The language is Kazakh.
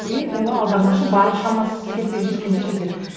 и оны аудармашы бар шамасы жеткенше жетеді